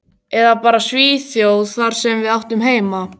Eða bara Svíþjóð, þar sem við áttum heima.